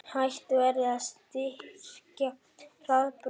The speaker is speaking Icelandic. Hætt verði að styrkja Hraðbraut